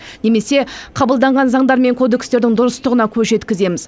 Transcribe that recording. немесе қабылданған заңдар мен кодекстердің дұрыстығына көз жеткіземіз